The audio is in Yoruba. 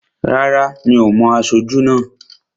Rárá, mi ò mo aṣojú náà